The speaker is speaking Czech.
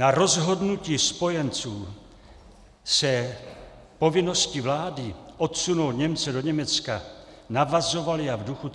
Na rozhodnutí spojenců o povinnosti vlády odsunout Němce do Německa navazovaly a v duchu